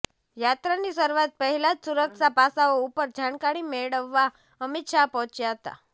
યાત્રાની શરૂઆત પહેલા જ સુરક્ષા પાસાઓ ઉપર જાણકારી મેળવવા અમિત શાહ પહોંચ્યા હતા